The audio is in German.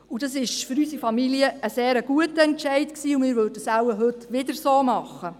Für unsere Familie war dies ein sehr guter Entscheid, und wir würden es heute wohl genauso machen.